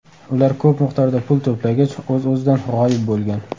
Ular ko‘p miqdorda pul to‘plagach, o‘z-o‘zidan g‘oyib bo‘lgan.